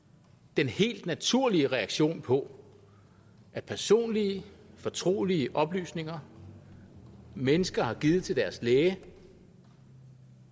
den helt naturlige reaktion på personlige fortrolige oplysninger mennesker har givet til deres læge